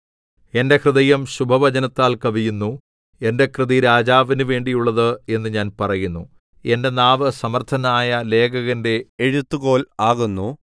എന്റെ ഹൃദയം ശുഭവചനത്താൽ കവിയുന്നു എന്റെ കൃതി രാജാവിന് വേണ്ടിയുള്ളത് എന്ന് ഞാൻ പറയുന്നു എന്റെ നാവ് സമർത്ഥനായ ലേഖകന്റെ എഴുത്തുകോൽ ആകുന്നു